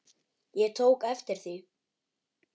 Ég tók eftir því.